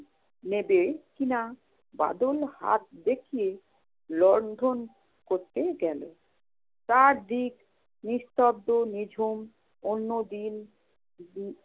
নেবে কি না, বাদল হাত দেখিয়ে লণ্ঠন ধরতে গেল। চারদিক নিস্তব্ধ নিঝুম, অন্যদিন